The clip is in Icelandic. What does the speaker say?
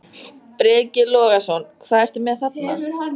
Breki Logason: Hvað ertu með þarna?